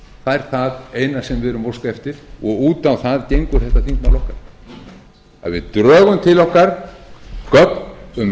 það er það eina sem við erum að óska eftir og út á það gengur þetta þingmál okkar að við drögum til okkar gögn um